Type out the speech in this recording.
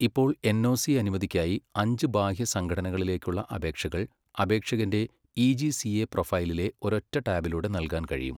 ഇപ്പോൾ എൻഒസി അനുമതിക്കായി അഞ്ച് ബാഹ്യ സംഘടനകളിലേക്കുള്ള അപേക്ഷകൾ അപേക്ഷകന്റെ ഇ.ജി.സിഎ പ്രൊഫൈലിലെ ഒരൊറ്റ ടാബിലൂടെ നൽകാൻ കഴിയും.